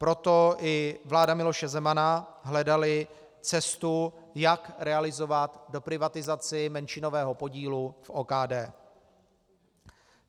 Proto i vláda Miloše Zemana hledala cestu, jak realizovat doprivatizaci menšinového podílu v OKD.